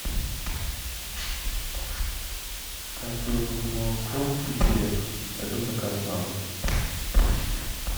так мне нужно молоко и хлеб это заказ на дом